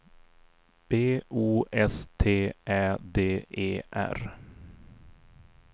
B O S T Ä D E R